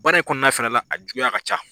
Baara in kɔnɔna fɛnɛ la a juguya ka ca.